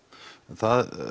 það